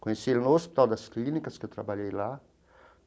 Conheci ele no Hospital das Clínicas, que eu trabalhei lá.